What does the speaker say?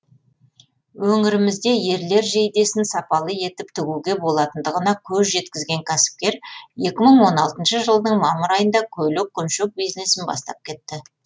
өңірімізде ерлер жейдесін сапалы етіп тігуге болатындығына көз жеткізген кәсіпкер екі мың он алтыншы жылдың мамыр айында көйлек көншек бизнесін бастап кетті